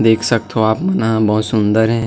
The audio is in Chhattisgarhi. देख सकथव आप मन ह बहोत सुंदर हे।